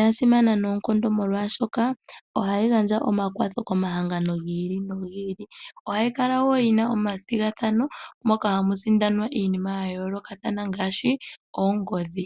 yasimana noonkondo molwashoka ohayi gandja omakwatho komahangano gi ili nogi ili. Ohayi kala wo yina omathigathano moka hamu sindanwa iinima ya yoolokathana ngaashi oongodhi.